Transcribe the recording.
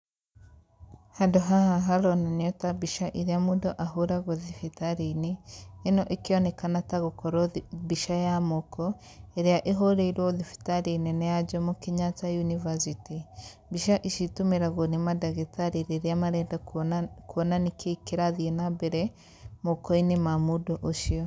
Handũ haha haronania ta mbica irĩa mũndũ ahũragwo thibitarĩ-inĩ, ĩno ĩkĩonekana ta gũkorwo mbica ya moko ĩrĩa ĩhũrĩirwo thibitarĩ nene ya Jomo kenyatta University. Mbica ici citũmĩragwo nĩ mandagĩtarĩ rĩrĩa marenda kuona nĩ kĩĩ kĩrathiĩ na mbere mokoinĩ ma mũndũ ũcio.